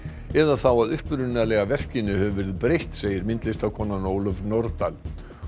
eða þá að upprunalega verkinu hefur verið breytt segir myndlistarkonan Ólöf Nordal